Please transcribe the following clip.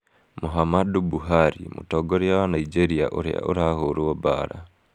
Muhammadu Buhari, mũtongoria wa Nigeria ũrĩa ũrahũrwo mbaara.